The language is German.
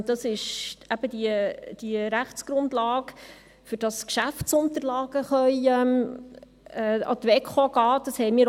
Das ist eben diese Rechtsgrundlage, damit Geschäftsunterlagen an die WEKO gehen können.